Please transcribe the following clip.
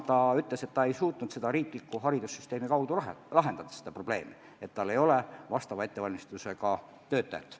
Ta ütles, et ta ei suutnud riikliku haridussüsteemi kaudu lahendada probleemi, et tal ei ole vajaliku ettevalmistusega töötajaid.